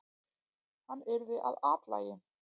Hann yrði að athlægi!